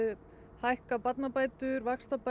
hækka barnabætur vaxtabætur